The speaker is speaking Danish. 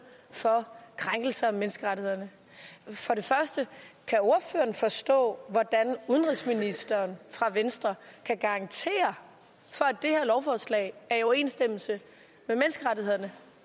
for krænkelser af menneskerettighederne for det første kan ordføreren forstå hvordan udenrigsministeren fra venstre kan garantere for at det her lovforslag er i overensstemmelse